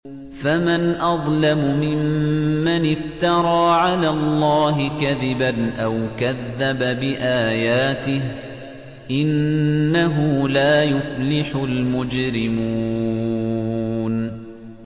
فَمَنْ أَظْلَمُ مِمَّنِ افْتَرَىٰ عَلَى اللَّهِ كَذِبًا أَوْ كَذَّبَ بِآيَاتِهِ ۚ إِنَّهُ لَا يُفْلِحُ الْمُجْرِمُونَ